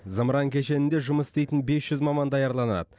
зымыран кешенінде жұмыс істейтін бес жүз маман даярланады